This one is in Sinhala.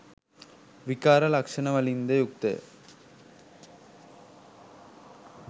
විකාර ලක්ෂණවලින් ද යුක්ත ය.